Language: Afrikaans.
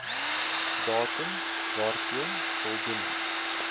datum waarteen voldoening